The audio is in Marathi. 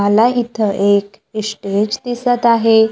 मला इथं एक स्टेज दिसत आहे.